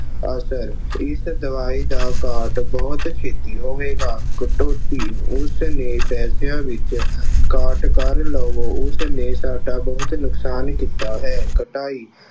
ਅਸਰ ਇਸ ਦਵਾਈ ਦਾ ਕਾਟ ਬਹੁਤ ਛੇਤੀ ਹੋਵੇਗਾ। ਕਟੌਤੀ ਉਸਨੇ ਪੈਸਿਆਂ ਵਿੱਚ ਕਾਟ ਕਰ ਲਵੋ। ਉਸਨੇ ਸਾਡਾ ਬਹੁਤ ਨੁਕਸਾਨ ਕੀਤਾ ਹੈ। ਕਟਾਈ